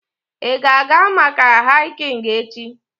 Ị ga-aga maka hiking echi?